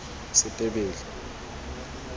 setebele